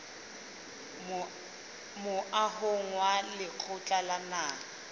moahong wa lekgotla la naha